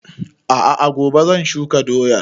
A'a gobe zan shuka doyan